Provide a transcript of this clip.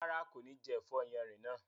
Rárá, kò ní jẹ ẹ̀fọ́ yánrin náà